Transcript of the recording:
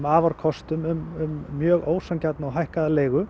afarkostum um mjög ósanngjarna og hækkaða leigu